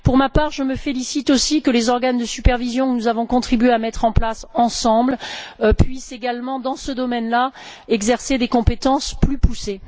Pour ma part, je me félicite aussi que les organes de supervision que nous avons contribué à mettre en place ensemble puissent eux aussi, dans ce domaine là, exercer des compétences plus poussées.